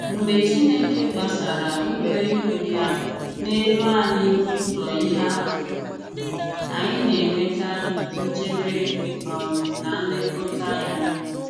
Mgbe Chineke gbàsàrà ụlọikwuu ya n’elu anyị n’ụ̀zọ̀ ihe atụ, anyị na-enweta nchebe um na nlekọta ya.